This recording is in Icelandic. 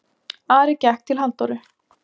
Ari gekk til Halldóru.